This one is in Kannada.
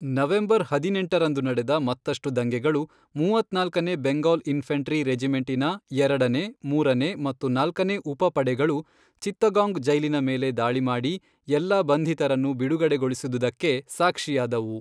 ನವೆಂಬರ್ ಹದಿನೆಂಟರಂದು ನಡೆದ ಮತ್ತಷ್ಟು ದಂಗೆಗಳು, ಮೂವತ್ನಾಲ್ಕನೇ ಬೆಂಗಾಲ್ ಇನ್ಫ಼ಂಟ್ರಿ ರೆಜಿಮೆಂಟಿನ ಎರಡನೇ, ಮೂರನೇ, ಮತ್ತು ನಾಲ್ಕನೇ ಉಪಪಡೆಗಳು ಚಿತ್ತಗಾಂಗ್ ಜೈಲಿನ ಮೇಲೆ ದಾಳಿ ಮಾಡಿ ಎಲ್ಲಾ ಬಂಧಿತರನ್ನು ಬಿಡುಗಡೆಗೊಳಿಸಿದುದಕ್ಕೆ ಸಾಕ್ಷಿಯಾದವು.